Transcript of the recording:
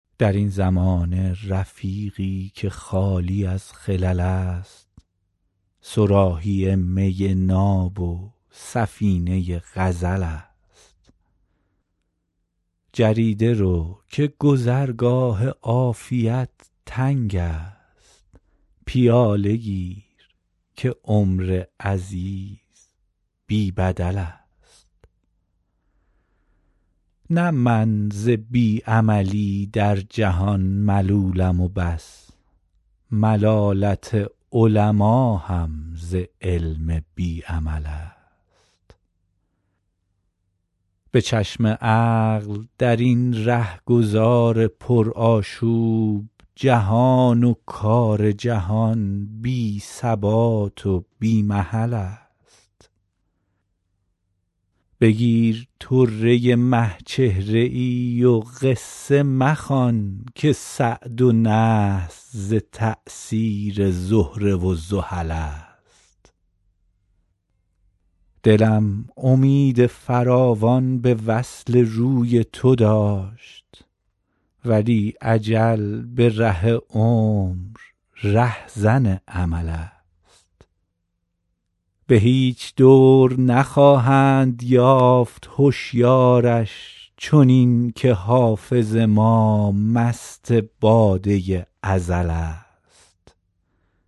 در این زمانه رفیقی که خالی از خلل است صراحی می ناب و سفینه غزل است جریده رو که گذرگاه عافیت تنگ است پیاله گیر که عمر عزیز بی بدل است نه من ز بی عملی در جهان ملولم و بس ملالت علما هم ز علم بی عمل است به چشم عقل در این رهگذار پرآشوب جهان و کار جهان بی ثبات و بی محل است بگیر طره مه چهره ای و قصه مخوان که سعد و نحس ز تأثیر زهره و زحل است دلم امید فراوان به وصل روی تو داشت ولی اجل به ره عمر رهزن امل است به هیچ دور نخواهند یافت هشیارش چنین که حافظ ما مست باده ازل است